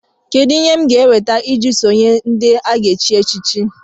Kedụ ihe ndị m ga-eweta iji sonyere ndị a ga-echi echichi